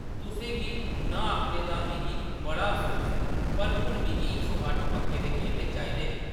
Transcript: “तुसें गी नांह् आखने दा मिगी बड़ा अफसोस ऐ, पर हून मिगी इक सौ अट्ठ पक्के दे केले चाहिदे न ।